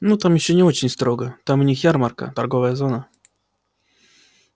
ну там ещё не очень строго там у них ярмарка торговая зона